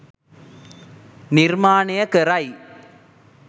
නිර්මාණය කරයි.